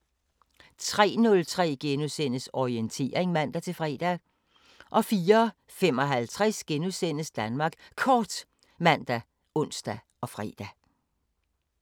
03:03: Orientering *(man-fre) 04:55: Danmark Kort *( man, ons, fre)